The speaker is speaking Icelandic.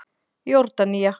Jórdanía